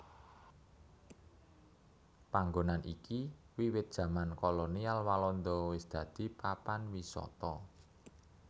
Panggonan iki wiwit jaman kolonial Walanda wis dadi papan wisata